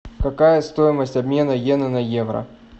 какая стоимость обмена йены на евро